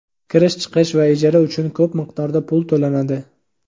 kirish-chiqish va ijara uchun ko‘p miqdorda pul to‘lanadi.